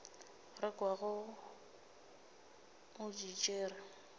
re kwago o di tšere